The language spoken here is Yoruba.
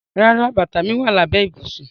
Rárá, bata mi wa labẹ ibusun.